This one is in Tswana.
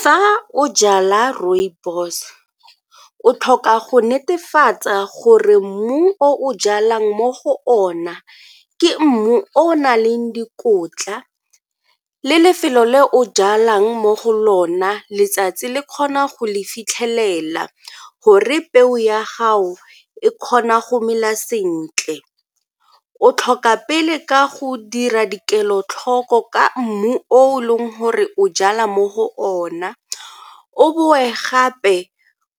Fa o jala rooibos, o tlhoka go netefatsa gore mmu o o jalang mo go ona ke mmu o o na leng dikotla le lefelo le o jalang mo go lona letsatsi le kgona go le fitlhelela gore peo ya gago e kgona go mela sentle. O tlhoka pele ka go dira di kelotlhoko ka mmu o leng gore o jala mo go ona o boe gape